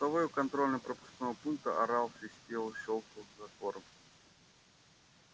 постовой у контрольно пропускного пункта орал свистел щёлкал затвором